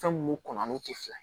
Fɛn mun kɔn n'o tɛ fila ye